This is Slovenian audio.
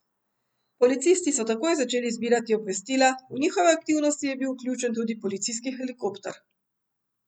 Policisti so takoj začeli zbirati obvestila, v njihove aktivnosti je bil vključen tudi policijski helikopter.